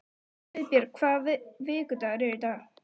Friðbjörg, hvaða vikudagur er í dag?